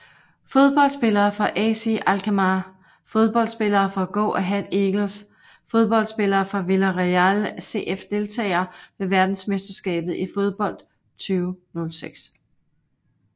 Fodboldspillere fra AZ Alkmaar Fodboldspillere fra Go Ahead Eagles Fodboldspillere fra Villarreal CF Deltagere ved verdensmesterskabet i fodbold 2006